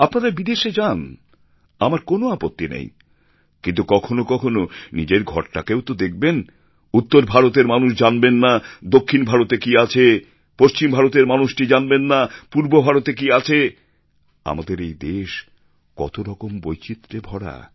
আপনারা বিদেশে যান আমার কোন আপত্তি নেই কিন্তু কখনও কখনও নিজের ঘরটাকেও তো দেখবেন উত্তর ভারতের মানুষ জানবেন না দক্ষিণ ভারতে কী আছে পশ্চিম ভারতের মানুষটি জানবেন না যে পূর্বভারতে কী আছে আমাদের এই দেশ কতরকম বৈচিত্র্যে ভরা